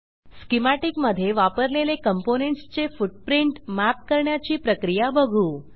schematic मधे वापरलेले components चे फुटप्रिंट मॅप करण्याची प्रक्रिया बघू